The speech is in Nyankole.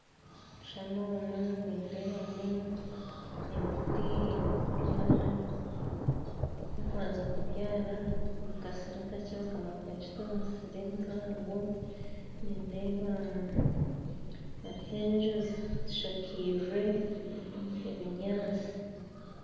Omu kishushani omu nindeebamu emiti eyi bakubyara ei bakubanza kubyara mu kasiri akakye bakamara bakagita omu misiri emihango, nindeeba hariho enju zishakaize ebinyansi